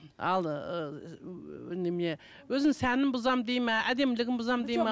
ал ыыы немене өзінің сәнін бұзамын дейді ме әдемілігін бұзамын дейді ме